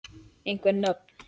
Einhver nöfn?